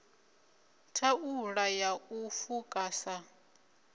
thaula ya u fuka sa